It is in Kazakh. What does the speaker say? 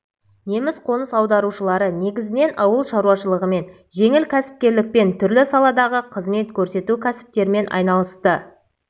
неміс қоныс аударушылары негізінен ауыл шаруашылығымен жеңіл кәсіпкерлікпен түрлі саладағы қызмет көрсету кәсіптермен айналысты